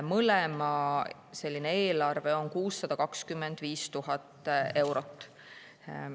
Mõlema eelarve on 625 000 eurot.